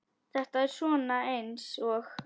Þetta er svona eins og.